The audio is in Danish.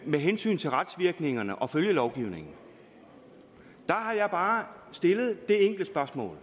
med hensyn til retsvirkningerne og følgelovgivningen har jeg bare stillet det enkle spørgsmål